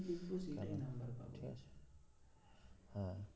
হ্যাঁ